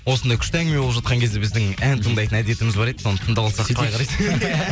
осындай күшті әңгіме болып жатқан кезде біздің ән тыңдайтын әдетіміз бар еді соны тыңдап алсақ